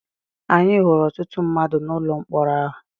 Anyị hụrụ ọtụtụ mmadụ n’ụlọ mkpọrọ ahụ.